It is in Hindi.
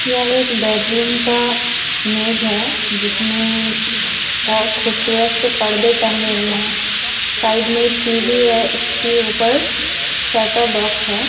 यह एक बेडरूम का इमेज है जिसमें बहोत खूबसूरत से पर्दे टंगे हुए हैं साइड में टीवी है उसके ऊपर सेटउप बॉक्स है।